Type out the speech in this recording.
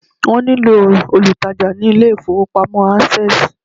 wón ní lò olùtajà ni ilé ifowópamọ́ access